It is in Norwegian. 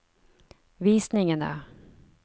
visningene